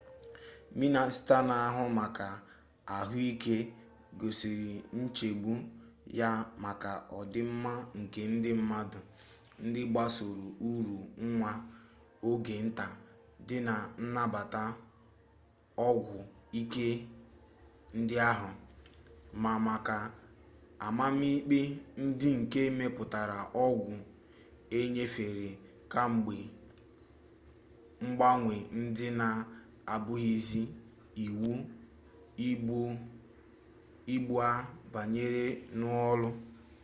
mịnịsta na-ahụ maka ahụike gosiri nchegbu ya maka ọdịmma nke ndị mmadụ ndị gbasoro uru nwa oge nta dị na nnabata ọgwụ ike ndị ahụ ma maka amamikpe ndị nke metụtara ọgwụ e nyefere kamgbe mgbanwe ndị na-abụghịzi iwu ugbu a banyere n'ọrụ